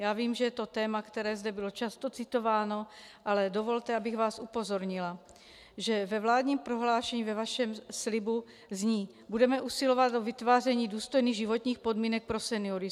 Já vím, že je to téma, které zde bylo často citováno, ale dovolte, abych vás upozornila, že ve vládním prohlášení ve vašem slibu zní: Budeme usilovat o vytváření důstojných životních podmínek pro seniory.